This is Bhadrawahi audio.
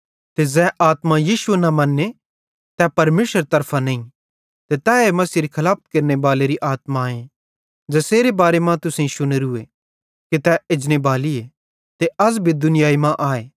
ते ज़ै आत्मा यीशु न मन्ने तै परमेशरेरे तरफां नईं ते तैए मसीहेरी खलाफत केरनेबाली आत्माए ज़ेसेरे बारे मां तुसेईं शुनोरू कि तै एजने बालीए ते अज़ भी दुनियाई मां आए